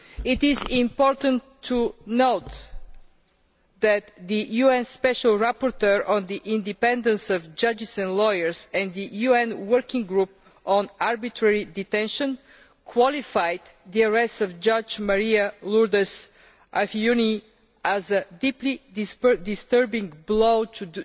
It is important to note that the UN Special Rapporteur on the independence of judges and lawyers and the UN Working Group on Arbitrary Detention qualified the arrest of Judge María Lourdes Afiuni as a deeply disturbing blow to